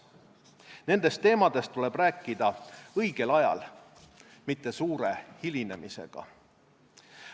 Nendest teemadest tuleb rääkida õigel ajal, mitte suure hilinemisega.